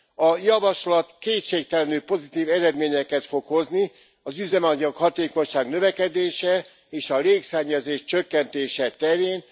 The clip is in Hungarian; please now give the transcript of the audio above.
A javaslat kétségtelenül pozitív eredményeket fog hozni az üzemanyag hatékonyság növekedése, és a légszennyezés csökkentése terén.